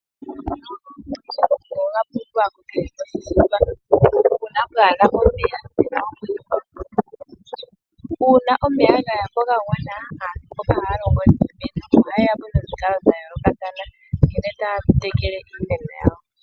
Omeya oga pumbiwa kukehe gumwe uuna kapena omeya ga gwana Aantu mboka oha longo niimeno oha yeyapo nomikalo sha yoolokathana nkene taya tekele iimeno yawo